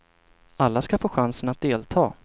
Alla skall få chansen att delta.